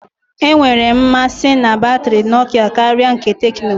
Enwere m mmasị na batrị Nokia karịa nke Tecno.